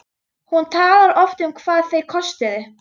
Hún talar oft um hvað þeir kostuðu.